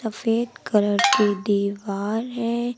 सफेद कलर की दीवार है।